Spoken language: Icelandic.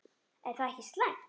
Er það ekki slæmt?